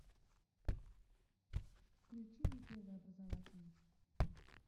включи мне первый образовательный